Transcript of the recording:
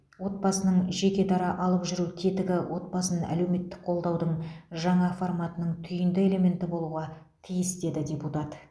отбасының жекедара алып жүру тетігі отбасын әлеуметтік қолдаудың жаңа форматының түйінді элементі болуға тиіс деді депутат